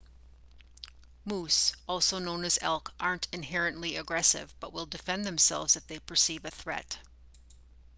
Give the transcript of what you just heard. moose also known as elk aren't inherently aggressive but will defend themselves if they perceive a threat